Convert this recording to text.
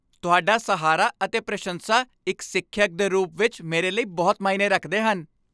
ਤੁਹਾਡਾ ਸਹਾਰਾ ਅਤੇ ਪ੍ਰਸ਼ੰਸਾ ਇੱਕ ਸਿੱਖਿਅਕ ਦੇ ਰੂਪ ਵਿੱਚ ਮੇਰੇ ਲਈ ਬਹੁਤ ਮਾਇਨੇ ਰੱਖਦੇ ਹਨ।